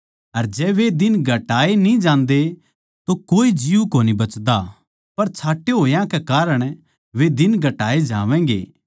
अर जै वे दिन घटाए न्ही जांदे तो कोए जीव कोनी बचदा पर छाँटे होया कै कारण वे दिन घटाए जावैंगे